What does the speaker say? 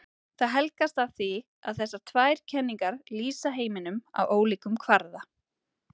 Það helgast af því að þessar tvær kenningar lýsa heiminum á ólíkum kvarða.